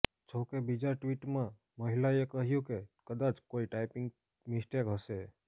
જોકે બીજા ટ્વિટમાં મહિલાએ કહ્યુ કે કદાચ કોઇ ટાઇપિંગ મિસ્ટેક હશે